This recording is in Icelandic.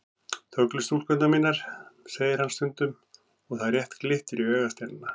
Þöglu stúlkurnar mínar, segir hann stundum og það rétt glittir í augasteinana.